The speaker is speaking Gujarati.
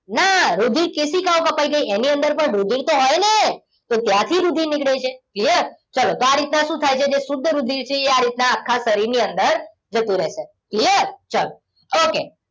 ના રુધિર કેશિકાઓ કપાઈ ગઈ એની અંદર પણ રુધિર તો હોય ને તો ત્યાંથી રુધિર નીકળે છે યસ ચાલો આ રીતના શું થાય છે જે શુદ્ધ રુધિર છે એ આ રીતના આખા શરીરની અંદર જતું રહેશે clear ચાલો okay